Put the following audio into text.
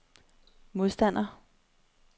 modstander